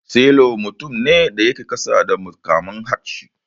Sailor mutum ne da yake kasa da mukamin hafshi.